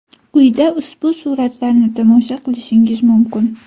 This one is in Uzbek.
Quyida ushbu suratlarni tomosha qilishingiz mumkin.